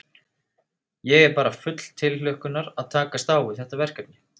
Ég er bara full tilhlökkunar að takast á við þetta verkefni.